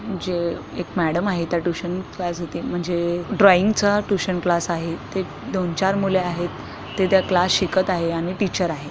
म्हणजे एक मॅडम आहे त्या ट्यूशन क्लास घेतेय म्हणजे ड्रॉइंगचा ट्यूशन क्लास आहे इथे दोन चार मुले आहेत ते त्या क्लास शिकत आहे आणि टीचर आहे.